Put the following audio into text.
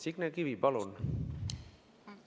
Signe Kivi, palun!